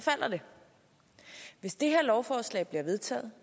hvis det her lovforslag bliver vedtaget